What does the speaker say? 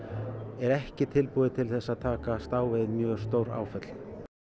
er ekki tilbúið til þess að takast á við mjög stór áföll